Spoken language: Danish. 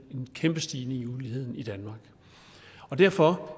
kæmpe stigning i uligheden i danmark derfor